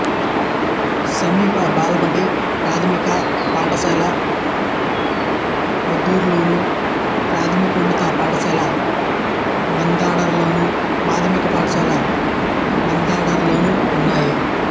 సమీప బాలబడి ప్రాథమిక పాఠశాల పొందూరులోను ప్రాథమికోన్నత పాఠశాల మందరాడలోను మాధ్యమిక పాఠశాల మందరాడలోనూ ఉన్నాయి